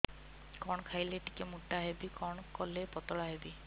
କଣ ଖାଇଲେ ଟିକେ ମୁଟା ହେବି କଣ କଲେ ପତଳା ହେବି